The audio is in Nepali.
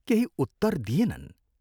केही उत्तर दिएनन्।